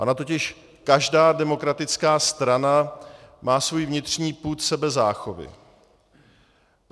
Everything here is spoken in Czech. Ona totiž každá demokratická strana má svůj vnitřní pud sebezáchovy.